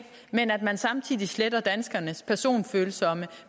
men at man samtidig sletter danskernes personfølsomme